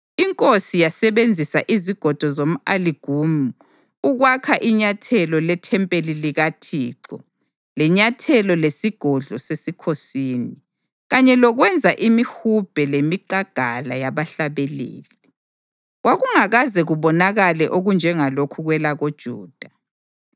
Inkosi yasebenzisa izigodo zomʼaligumu ukwakha inyathelo lethempeli likaThixo lenyathelo lesigodlo sesikhosini, kanye lokwenza imihubhe lemiqangala yabahlabeleli. Kwakungakaze kubonakale okunjengalokhu kwelakoJuda).